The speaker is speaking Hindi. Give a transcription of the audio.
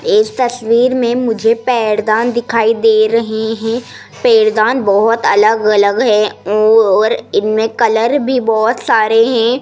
इस तस्वीर में मुझे पैरदान दिखाई दे रहे हैं। पैरदान बहुत अलग-अलग है और इनमें कलर भी बहुत सारे हैं।